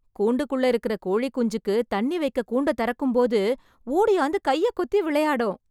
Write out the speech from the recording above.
கூண்டுக்குள்ள இருக்குற கோழி குஞ்சுக்கு தண்ணி வைக்க கூண்ட தொறக்கும் போது ஓடியாந்து கையை கொத்தி விளையாடும்.